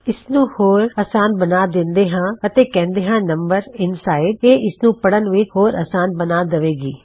ਇਸਨੂੰ ਹੋਰ ਅਸਾਨ ਬਣਾ ਦਿੰਦੇ ਹਾਂ ਅਤੇ ਕਿਹੁਂਦੇ ਹਾਂ ਨਮ ਇੰਨਸਾਇਡ ਇਹ ਇਸਨੂੰ ਪੜਨ ਵਿੱਚ ਹੋਰ ਅਸਾਨ ਬਣਾ ਦਵੇਗੀ